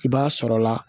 I b'a sɔrɔla